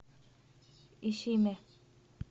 ишиме